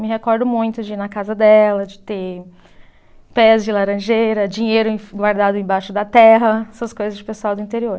Me recordo muito de ir na casa dela, de ter pés de laranjeira, dinheiro em guardado embaixo da terra, essas coisas de pessoal do interior.